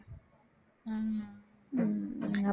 உம் ஆமா